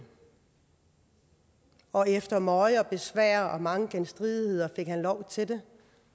og efter møje og besvær og mange genstridigheder fik han lov til det